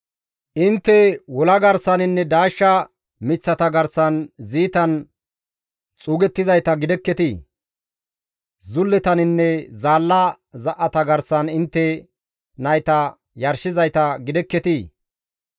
Intte wola garsaninne daashsha miththata garsan ziitan xuugettizayta gidekketii? zulletaninne zaalla za7ata garsan intte nayta yarshizayta gidekketii?